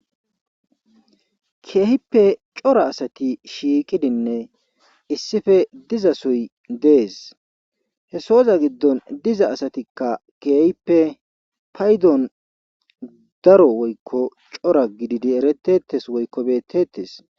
keehippe cora asati shiiqidinne issife diza soy dees hesoza giddon diza asatikka keehippe paydon daro woykko cora gididi eretetes woykko bettetes